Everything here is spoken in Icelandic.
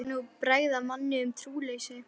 Hann var nú að bregða manni um trúleysi.